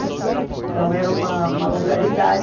Então, era uma uma localidade,